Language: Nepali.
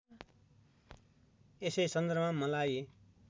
यसै सन्दर्भमा मलाई